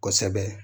Kosɛbɛ